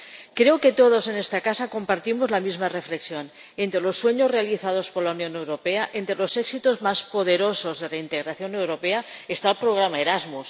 Creo que todos en esta casa compartimos la misma reflexión entre los sueños realizados por la Unión Europea, entre los éxitos más poderosos de la integración europea, está el programa Erasmus.